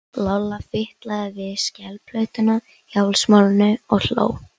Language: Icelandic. Lolla fitlaði við skelplötuna í hálsmálinu og hló.